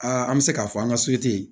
Aa an bɛ se k'a fɔ an ka